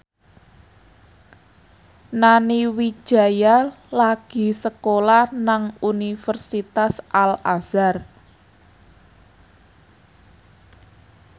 Nani Wijaya lagi sekolah nang Universitas Al Azhar